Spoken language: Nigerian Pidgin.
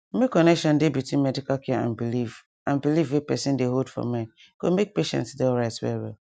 make connection dey between medical care and belief and belief wey person dey hold for mind go make patient dey alright well well